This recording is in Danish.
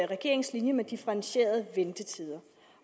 regeringens linje med differentierede ventetider